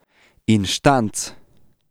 Inštanc.